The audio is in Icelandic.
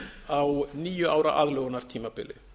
á níu ára aðlögunartímabili